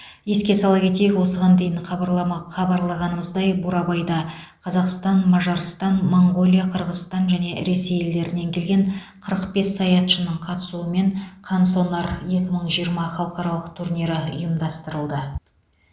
еске сала кетейік осыған дейін хабарлама хабарлағанымыздай бурабайда қазақстан мажарстан моңғолия қырғызстан және ресей елдерінен келген қырық бес саятшының қатысуымен қансонар екі мың жиырма халықаралық турнирі ұйымдастырылды